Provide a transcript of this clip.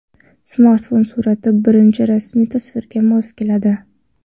Smartfon surati birinchi rasmiy tasvirga mos keladi.